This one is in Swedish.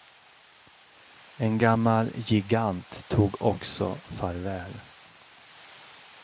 En gammal gigant tog också farväl.